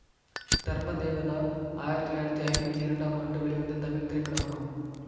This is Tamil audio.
தர்ம தேவதா ஆயிரத்தி தொள்ளாயிரத்தி ஐம்பத்தி இரண்டாம் ஆண்டு வெளிவந்த தமிழ் திரைப்படமாகும்